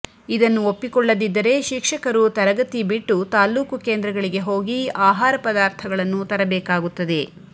ಇದನ್ನು ಒಪ್ಪಿಕೊಳ್ಳದಿದ್ದರೆ ಶಿಕ್ಷಕರು ತರಗತಿ ಬಿಟ್ಟು ತಾಲ್ಕೂಕು ಕೇಂದ್ರಗಳಿಗೆ ಹೋಗಿ ಆಹಾರ ಪದಾರ್ಥಗಳನ್ನು ತರಬೇಕಾಗುತ್ತದೆ